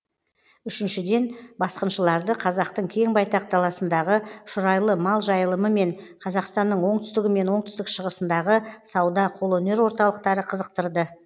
үшіншіден басқыншыларды қазақтың кең байтақ даласындағы шұрайлы мал жайылымы мен қазақстанның оңтүстігі мен оңтүстік шығысындағы сауда қолөнер орталықтары қызықтырды